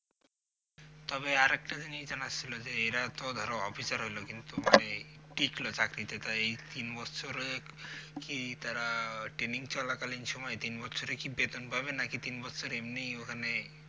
তবে আর একটা জিনিস জানার ছিলো যে এরা তো ধরো অফিসার হইলো কিন্তু মানে টিকলো চাকরিতে তয় এই তিন বছরে কি তারা আহ training চলাকালীন সময়ে তিন বছরে কি বেতন পাবে নাকি তিন বছর এমনিই ওখানে